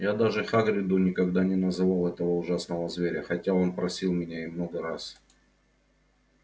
я даже хагриду никогда не называл этого ужасного зверя хотя он просил меня и много раз